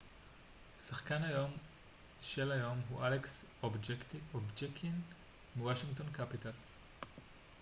שחקן היום של היום הוא אלכס אובצ'קין מוושינגטון קפיטלס